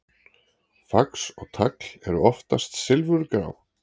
Fax og tagl eru oftast silfurgrá.